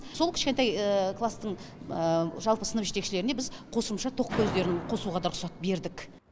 сол кішкентай класстың жалпы сынып жетекшілеріне біз қосымша тоқ көздерін қосуға да рұқсат бердік